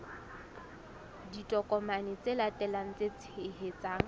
ditokomane tse latelang tse tshehetsang